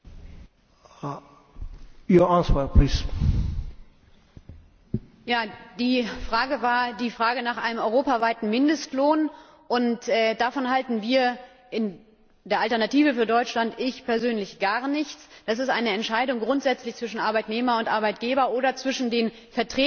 Die Frage betraf einen europaweiten Mindestlohn Davon halten wir in der Alternative für Deutschland und ich persönlich gar nichts. Das ist grundsätzlich eine Entscheidung zwischen Arbeitnehmer und Arbeitgeber oder zwischen den Vertretergesellschaften, zwischen den Arbeitgebervertretern und den Arbeitnehmervertretern, die das regeln müssen.